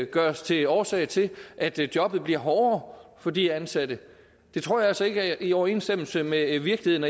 gøres til årsag til at jobbet bliver hårdere for de ansatte det tror jeg altså ikke er i overensstemmelse med virkeligheden